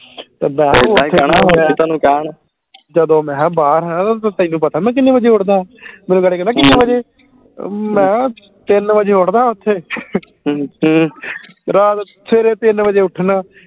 ਇੱਦਾਂ ਜਦੋਂ ਮੈਂ ਬਾਹਰ ਤੈਨੂੰ ਪਤਾ ਮੈਂ ਕਿੰਨੇ ਵਜੇ ਉੱਠਦਾ ਮੇਰਾ ਕਹਿੰਦਾ ਕਿੰਨੇ ਵਜੇ ਮੈਂ ਕਿਹਾ ਤਿੰਨ ਵਜੇ ਉੱਠਦਾ ਓਥੇ ਰਾਤ ਸਵੇਰੇ ਤਿੰਨ ਵਜੇ ਉੱਠਣਾ